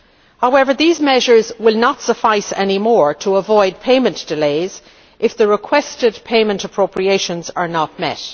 However, these measures will no longer suffice to avoid payment delays if the requested payment appropriations are not